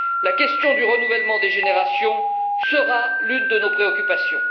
La question du renouvellement des générations sera l'une de nos préoccupations.